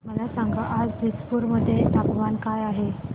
मला सांगा आज दिसपूर मध्ये तापमान काय आहे